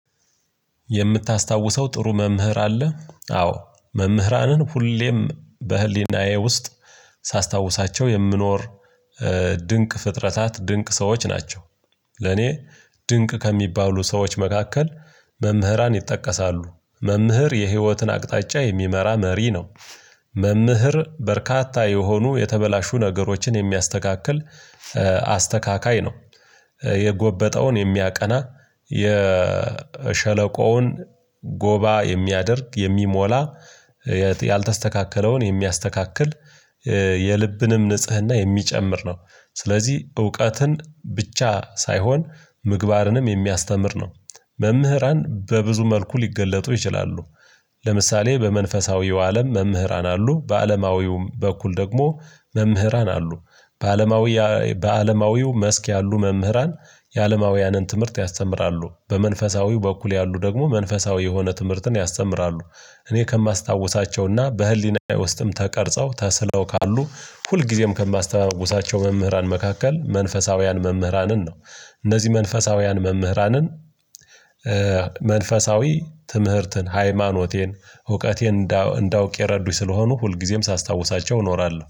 የምታስታውሰው ጥሩ መምህር አለ? አዎ መምህራንን ሁሌም በህሊናዬ ውስጥ ሳስታውሳቸው የምኖር ድንቅ ፍጥረታት ድንቅ ሰዎች ናቸው። ለኔ ድንቅ ከሚባሉ ሰዎች መካከል መምህራን ይጠቀሳሉ። መምህር የህይወትን አቅጣጫ የሚመራ መሪ ነው። መምህር በርካታ የሆኑ የተበላሹ ነገሮችን የሚያስተካክል አስተካካይ ነው። የጎበጠውን የሚያቀና የሸለቆውን ጎባ የሚያደርግ የሚሞላ ያልተስተካከለውን የሚያስተካክል የልብንም ንጽህና የሚጨምር ነው። ስለዚህ እውቀትን ብቻ ሳይሆን ምግባርንም የሚያስተምር ነው። መምህራን በብዙ መልኩ ሊገለጡ ይችላሉ። ለምሳሌ በመንፈሳዊው አለም መምህራን አሉ በአለማዊውም በኩል ደግሞ መምህራን አሉ። በአለማዊ በአለማዊው መስክ ያሉ መምህራን የአለማውያንን ትምህርት ያስተምራሉ። በመንፈሳዊው በኩል ያሉ ደግሞ መንፈሳዊ የሆነ ትምህርትን ያስተምራሉ። እኔ ከማስታውሳቸውና በህሊናዬ ውስጥም ተቀርጸው ተስለው ካሉ ሁልጊዜም ከማስተማውሳቸው መምህራን መካከል መንፈሳውያን መምህራንን ነው። እነዚህ መንፈሳውያን መምህራንን መንፈሳዊ ትምህርትን ሃይማኖቴን እውቀቴን እንዳውቅ የረዱኝ ስለሆኑ ሁልጊዜም ሳስታውሳቸው እኖራለሁ